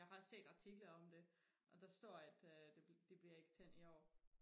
jeg har set artikler om det og der står at øh det bliver ikke tændt i år